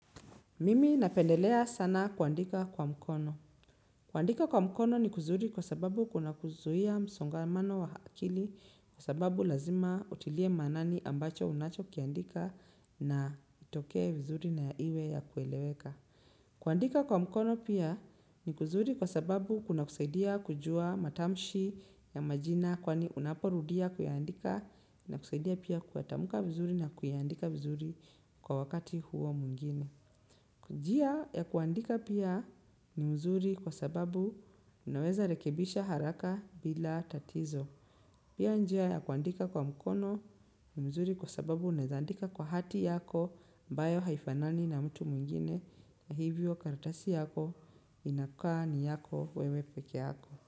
Mimi napendelea sana kuandika kwa mkono. Kuandika kwa mkono ni kuzuri kwa sababu kuna kuzuia msongamano wa akili kwa sababu lazima utilie maanani ambacho unacho kiandika na kitokee vizuri na iwe ya kueleweka. Kuandika kwa mkono pia ni kuzuri kwa sababu kuna kusaidia kujua matamshi ya majina kwani unaporudia kuyaandika inakusaidia pia kuyatamka vizuri na kuandika vizuri kwa wakati huo mwingine. Njia ya kuandika pia ni nzuri kwa sababu unaweza rekebisha haraka bila tatizo. Pia njia ya kuandika kwa mkono ni nzuri kwa sababu unaeza andika kwa hati yako ambayo haifanani na ya mtu mwingine na hivyo kartasi yako inakaa ni yako wewe pekee yako.